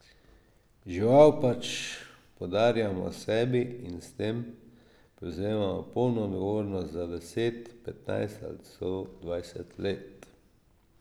Žival pač podarjamo sebi in s tem prevzemamo polno odgovornost za deset, petnajst ali celo dvajset let.